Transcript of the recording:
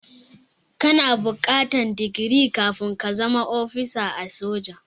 Kana buƙatar digiri kafin ka zama ofisa a soji.